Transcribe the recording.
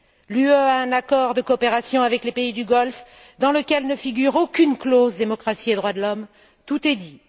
L'Union a un accord de coopération avec les pays du Golfe dans lequel ne figure aucune clause sur la démocratie et les droits de l'homme. Tout est dit.